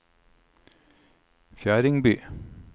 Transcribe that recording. Fjerdingby